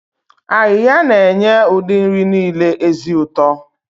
Ayiya na-enye ụdị nri niile ezi ụtọ.